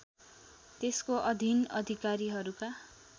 त्यसको अधिन अधिकारीहरूका